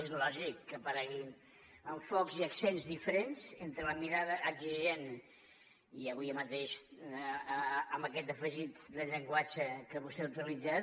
és lògic que apareguin enfocaments i accents diferents entre la mirada exigent i avui mateix amb aquest afegit del llenguatge que vostè ha utilitzat